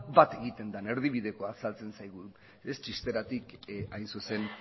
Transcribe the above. bat egiten den erdibidekoan azaltzen zaigu txisteratik hain zuzen